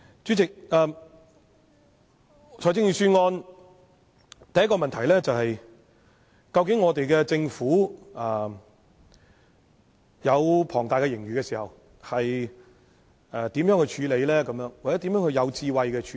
主席，對於財政預算案須提出的第一個問題是，究竟我們的政府在擁有龐大盈餘時應如何處理或如何有智慧地處理？